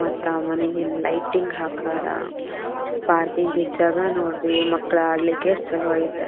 ಮತ್ತೆ ಆ ಮನೆಗೆ ಲೈಟಿಂಗ್ ಹಾಕಿದಾರೆ. ಪಾರ್ಕಿಂಗ್ ಗೆ ಜಾಗ ನೋಡ್ರಿ ಮಕ್ಳು ಆಡ್ಲಿಕ್ಕೆ ಎಷ್ಟು ಚಲೋ ಐತೆ.